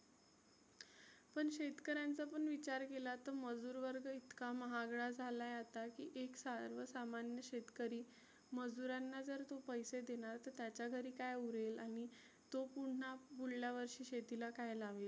पण शेतकऱ्यांचा पण विचार केला तर मजुर वर्ग इतका महागडा झालाय आता की एक सार्वसामान्य शेतकरी मजुरांना जर तो पैसे देणार तर त्याच्या घरी काय उरेल आणि तो पुन्हा पुढल्या वर्षी शेतीला काय लावेल.